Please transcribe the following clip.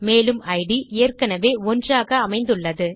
மேலும் இட் ஏற்கெனெவே 1 ஆக அமைந்துள்ளது